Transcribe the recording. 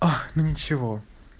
ах ну ничего